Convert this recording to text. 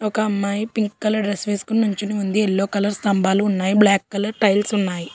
ఒక అమ్మాయి pink colour dress వేసుకుని నుంచుని ఉంది ఎల్లో కలర్ స్తంభాలు ఉన్నాయి బ్లాక్ కలర్ టైల్స్ ఉన్నాయి.